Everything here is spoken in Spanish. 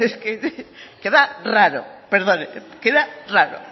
que era raro